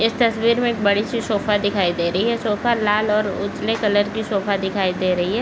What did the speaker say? इस तस्वीर में बड़ी सी सोफा दिखाई दे रही है सोफा लाल और उजले कलर की सोफा दिखाई दे रही हैं।